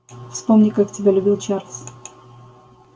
вспомни как тебя любил чарлз